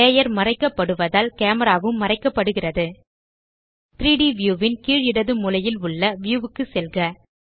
layer மறைக்கப்படுவதால் camera வும் மறைக்கப்படுகிறது 3ட் வியூ ன் கீழ் இடது மூலையில் உள்ள வியூ க்கு செல்க